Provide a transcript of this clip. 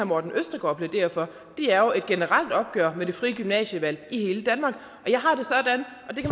morten østergaard plæderer for er jo et generelt opgør med det frie gymnasievalg i hele danmark